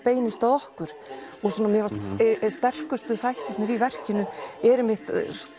okkur mér fannst sterkustu þættirnir í verkinu einmitt